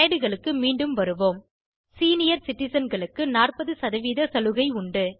slide களுக்கு மீண்டும் வருவோம் மூத்த குடிமக்கள் சீனியர் சிட்டிசன் களுக்கு 40 சதவீத சலுகை உள்ளது